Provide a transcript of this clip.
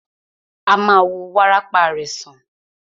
A ma wo wárápá rẹ̀ sàn.